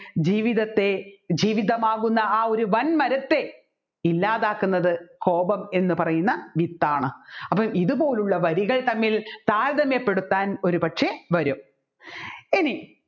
ജീവിതത്തെ ജീവിതമാകുന്ന എ ഒരു വന്മരത്തെ ഇല്ലാതാക്കുന്നത് കോപം എന്ന് പറയുന്ന വിത്താണ് അപ്പോൾ ഇതുപോലുള്ള വരികൾ തമ്മിൽ താര്യതമ്യപ്പെടുത്താൻ ഒരുപക്ഷെ വരും ഇനി